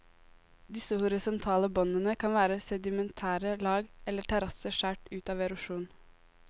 Disse horisontale båndene kan være sedimentære lag, eller terrasser skjært ut av erosjon.